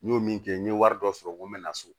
N y'o min kɛ n ye wari dɔ sɔrɔ n ko n bɛ na so